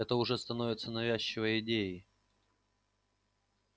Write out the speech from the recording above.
это уже становится навязчивой идеей